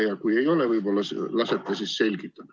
Ja kui ei ole, siis võib-olla lasete selgitada.